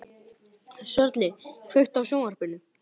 Sörli, kveiktu á sjónvarpinu.